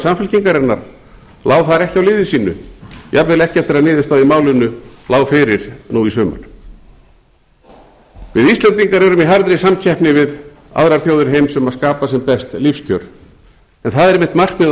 samfylkingarinnar lá þar ekki á liði sínu jafnvel ekki eftir að niðurstaða í málinu lá fyrir nú í sumar við íslendingar erum í harðri samkeppni við aðrar þjóðir heims um að skapa sem best lífskjör en það er einmitt markmið